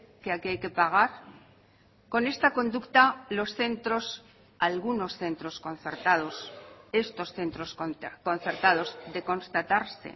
que aquí hay que pagar con esta conducta los centros algunos centros concertados estos centros concertados de constatarse